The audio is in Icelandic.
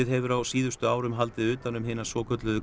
hefur á síðustu árum haldið utan um hina svokölluðu